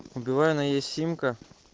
у билайна есть симка